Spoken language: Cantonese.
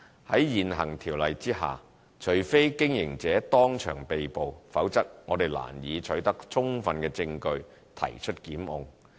在現行《條例》下，除非經營者當場被捕，否則我們難以取得充分證據提出檢控。